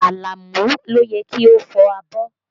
Àlàmú ló yẹ kí o fọ abọ́